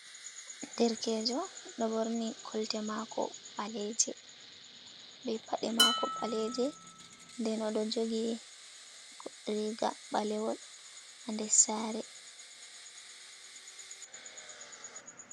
Derkejo"ɗo ɓorni kolte mako ɓaleje, be paɗe mako ɓaleje, nden oɗo jogi riga ɓalewol ha nder sare.